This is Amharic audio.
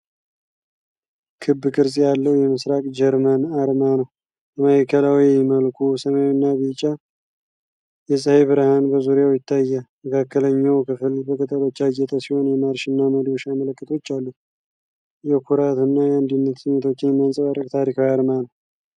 ክብ ቅርጽ ያለው የምስራቅ ጀርመን አርማ ነው። በማዕከላዊ መልኩ ሰማያዊና ቢጫ የፀሐይ ብርሃን በዙሪያው ይታያል። የመካከለኛው ክፍል በቅጠሎች ያጌጠ ሲሆን፤ የማርሽ እና መዶሻ ምልክቶች አሉት። የኩራት እና የአንድነት ስሜቶችን የሚያንፀባርቅ ታሪካዊ አርማ ነው።